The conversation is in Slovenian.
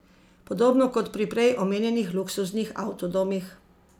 Podobno kot pri prej omenjenih luksuznih avtodomih.